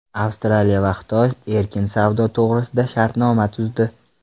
Avstraliya va Xitoy erkin savdo to‘g‘risida shartnoma tuzdi.